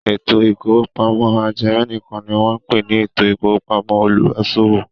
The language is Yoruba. Ètò ìkówópamọ́ ajẹmẹ̀nìkan ni wọ́n ń pè ní ètò ìkówópamọ́ olùbáṣòwò.